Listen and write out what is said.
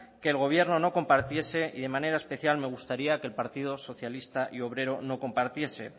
que el gobierno no compartiese y en manera especial me gustaría que el partido socialista y obrero lo compartiese